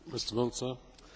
Herr Präsident!